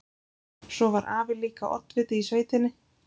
Svo var afi líka oddviti í sveitinni.